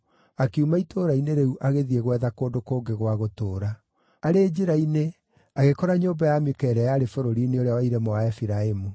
akiuma itũũra-inĩ rĩu agĩthiĩ gwetha kũndũ kũngĩ gwa gũtũũra. Arĩ njĩra-inĩ agĩkora nyũmba ya Mika ĩrĩa yarĩ bũrũri-inĩ ũrĩa wa irĩma wa Efiraimu.